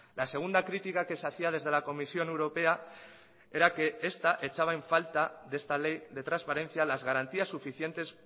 la segunda crítica que se hacía desde la comisión europea era que esta echaba en falta de esta ley de transparencia las garantías suficientes